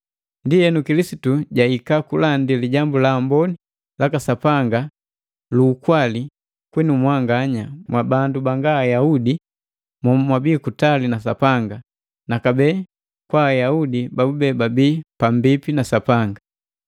Ndienu, Kilisitu jahika kulandi Lijambu la Amboni laka Sapanga lu lukwali kwinu mwanganya mwabandu banga Ayaudi momwabii kutali na Sapanga, na kabee kwa Ayaudi babube babii pambipi na Sapanga.